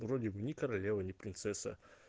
вроде бы не королева не принцесса